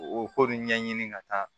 O ko nin ɲɛɲini ka taa